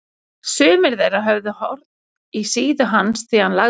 Sumir þeirra höfðu horn í síðu hans því hann lagði sig fram.